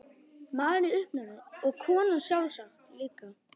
Maðurinn í uppnámi og konan sjálfsagt líka.